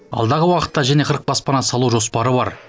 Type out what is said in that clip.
алдағы уақытта және қырық баспана салу жоспары бар